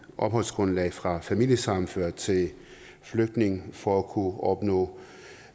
opholdsgrundlag fra familiesammenført til flygtning for at kunne opnå